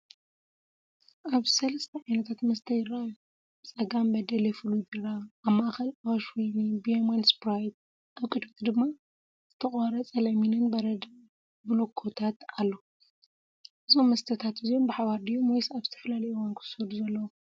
ኣብዚ ሰለስተ ዓይነታት መስተ ይረኣዩ። ብጸጋም በደሌ ፍሉይ ቢራ፡ ኣብ ማእከል ኣዋሽ ወይኒ፡ ብየማን ስፕራይት፡ ኣብ ቅድሚት ድማ ዝተቖርጸ ለሚንን በረድን ብሎኮታት ኣሎ። እዞም መስተታት እዚኦም ብሓባር ድዮም ወይስ ኣብ ዝተፈላለየ እዋን ክውሰዱ ዘለዎም?